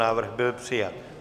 Návrh byl přijat.